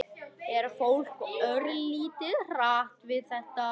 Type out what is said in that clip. Er fólk örlítið hrætt við þetta?